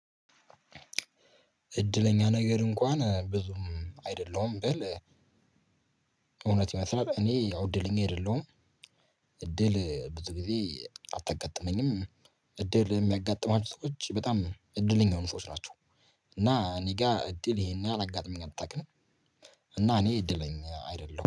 እድለኛ ነገር እንኳን ብዙም አይደለሁም ብል። እውነት ይመስላል እኔ ያው እድለኝ አይደለሁም እድል ብዙ ጊዜ አታጋጥመኝም። እድል የሚያጋጥማችሁ ሰዎች በጣም እድለኛ የሆኑ ሰዎች ናቸው። እና እኔ ጋር እድል ይሄን ያሀል አላጋጥማኝ አታውቅም። እና እኔ እድለኛ አይደለሁም